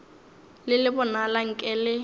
le le bonala nke le